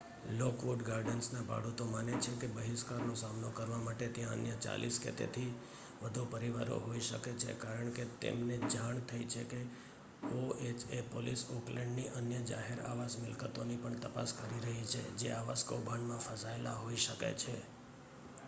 Lockwood ગાર્ડન્સના ભાડૂતો માને છે કે બહિષ્કારનો સામનો કરવા માટે ત્યાં અન્ય 40 કે તેથી વધુ પરિવારો હોઈ શકે છે કારણ કે તેમને જાણ થઈ છે કે ઓએચએ પોલીસ ઓકલેન્ડની અન્ય જાહેર આવાસ મિલકતોની પણ તપાસ કરી રહી છે જે આવાસ કૌભાંડમાં ફસાયેલા હોઈ શકે છે